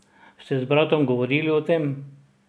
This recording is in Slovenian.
Ste z bratom govorili o tem?